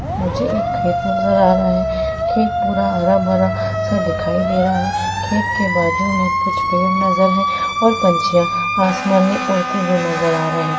मुझे एक खेत नज़र आ रहा है खेत पूरा हरा भरा सा दिखाई दे रहा है और खेत के बाजू में कुछ पेड़ नजर है और कुछ पंछियां आसमान में उड़ते हुए नजर आ रहे है।